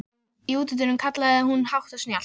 Í útidyrunum kallaði hún hátt og snjallt.